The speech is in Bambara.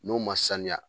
N'o ma sanuya